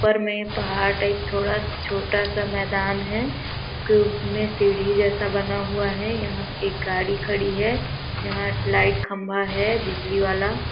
ऊपर में पहाड़ टाइप थोड़ा छोटा -सा मैदान है उसके उपर में सीढ़ी जैसा बना हुआ है यहाँ एक गाड़ी खड़ी है यहाँ लाइट खंबा है बिजली वाला--